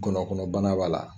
Gɔnɔ kɔnɔ bana b'a la.